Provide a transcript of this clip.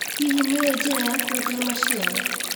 Hihi nĩũĩ njĩra ya kwendia maciaro.